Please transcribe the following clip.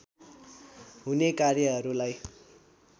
हुने कार्यहरूलाई